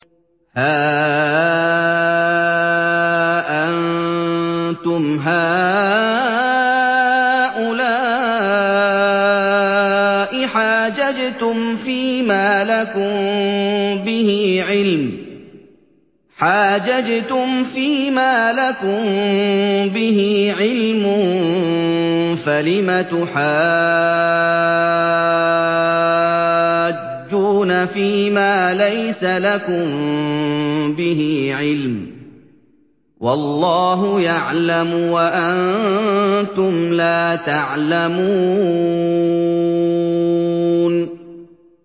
هَا أَنتُمْ هَٰؤُلَاءِ حَاجَجْتُمْ فِيمَا لَكُم بِهِ عِلْمٌ فَلِمَ تُحَاجُّونَ فِيمَا لَيْسَ لَكُم بِهِ عِلْمٌ ۚ وَاللَّهُ يَعْلَمُ وَأَنتُمْ لَا تَعْلَمُونَ